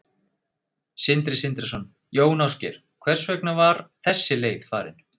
Sindri Sindrason: Jón Ásgeir, hvers vegna var þessi leið farin?